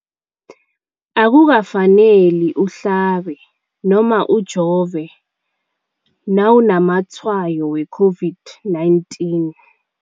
Akukafaneli uhlabe, ujove nawunamatshayo we-COVID-19 .